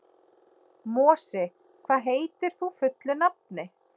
Mosi, hvað heitir þú fullu nafni?